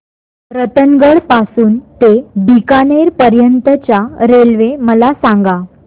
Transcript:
रतनगड पासून ते बीकानेर पर्यंत च्या रेल्वे मला सांगा